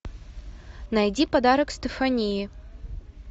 найди подарок стефании